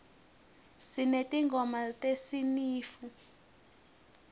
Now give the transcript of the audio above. sinetingoma tesinifu